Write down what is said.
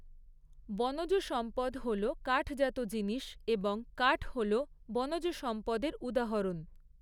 বনজ সম্পদ হল কাঠজাত জিনিস এবং কাঠ হলো বনজ সম্পদের উদাহরণ